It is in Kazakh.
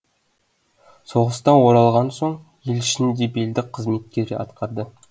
соғыстан оралған соң ел ішінде белді қызметтер атқарды